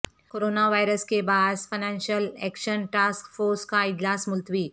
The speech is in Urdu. کرونا وائرس کے باعث فنانشل ایکشن ٹاسک فورس کا اجلاس ملتوی